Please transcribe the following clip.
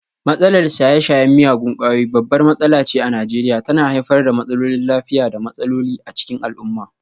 Matsalar shaye-shayen miyagun kwayoyi babbar matsala ce a Najeriya, tana haifar da matsalolin lafiya da matsaloli a cikin al'umma.